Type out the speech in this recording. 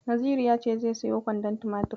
Naziru ya ce zai siyo kwandon tumatir.